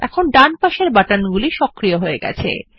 এখন ডান পাশের বাটনে গুলি সক্রিয় হয়ে গেছে